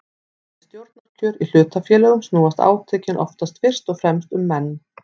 Við stjórnarkjör í hlutafélögum snúast átökin oftast fyrst og fremst um menn.